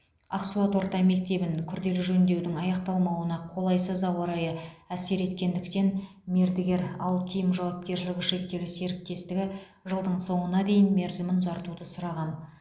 ақсуат орта мектебін күрделі жөндеудің аяқталмауына қолайсыз ауа райы әсер еткендіктен мердігер алтим жауапкершілігі шектеулі серіктестігі жылдың соңына дейін мерзімін ұзартуды сұраған